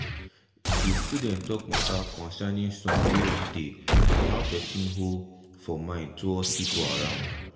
de student talk matta concerning song wey don tay and how person hold for mind towards pipo around.